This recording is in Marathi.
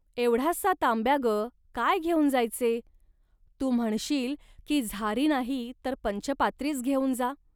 एवढासा तांब्या ग काय घेऊन जायचे. तू म्हणशील की, झारी नाही तर पंचपात्रीच घेऊन जा